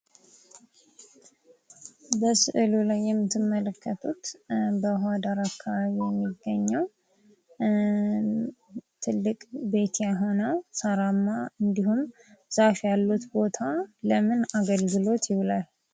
በስዕሉ ላይ የምትመለከቱት በውሃ ዳር አካባቢ የሚገኘው ትልቅ ቤት የሆነው ሳራማ እንዲሁም ፤ ዛፍ ያሉት ቦታ ለምን አገልግሎት ይውላል?